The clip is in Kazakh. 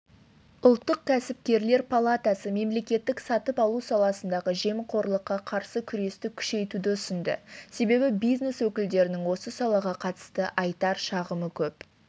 ұлттық кәсіпкерлер палатасы мемлекеттік сатып алу саласындағы жемқорлыққа қарсы күресті күшейтуді ұсынды себебі бизнес өкілдерінің осы салаға қатысты айтар шағымы көп